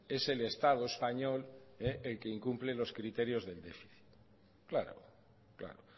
es el estado español el que incumple los criterios del déficit claro claro